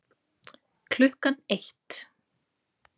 Klukkan eitt